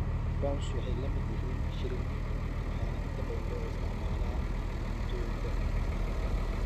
Prawns waxay la mid yihiin shrimp waxaana inta badan loo isticmaalaa cuntooyinka badda.